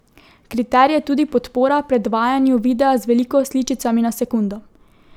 Kriterij je tudi podpora predvajanju videa z veliko sličicami na sekundo.